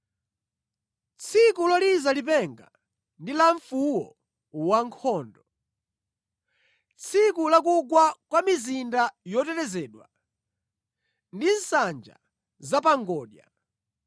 Tsiku loliza lipenga ndi la mfuwu wankhondo, tsiku la kugwa kwa mizinda yotetezedwa ndi nsanja za pa ngodya.